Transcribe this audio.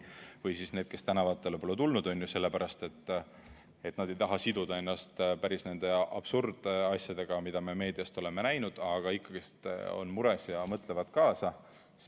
Või siis need, kes tänavatele pole tulnud, sellepärast et nad ei taha siduda ennast nende päris absurdsete asjadega, mida me meediast oleme näinud, aga ikkagi on mures ja mõtlevad kaasa.